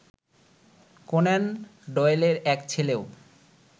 Conan ডয়েলের এক ছেলেও